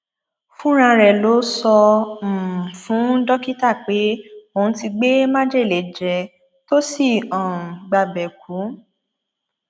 fúnra rẹ ló sọ um fún dókítà pé òun ti gbé májèlé jẹ tó sì um gbabẹ kú